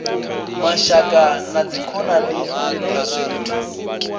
mashaka na dzikhonani kha zwithu